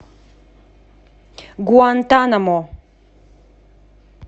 гуантанамо